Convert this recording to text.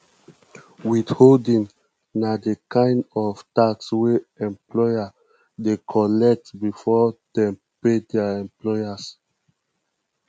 withholding na di kind of tax wey employer dey collect before dem pay their employers